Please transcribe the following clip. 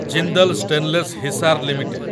Jindal stainless Hisar limited